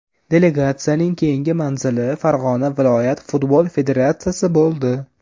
Delegatsiyaning keyingi manzili Farg‘ona viloyat futbol federatsiyasi bo‘ldi.